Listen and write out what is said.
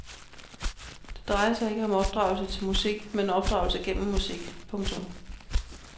Det drejer sig ikke om opdragelse til musik men opdragelse gennem musik. punktum